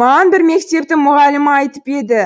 маған бір мектептің мұғалімі айтып еді